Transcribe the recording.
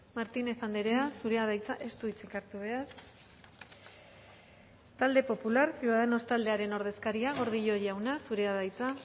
martínez andrea zurea da hitza ez du hitzik hartu behar talde popular ciudadanos taldearen ordezkaria gordillo jauna zurea da hitza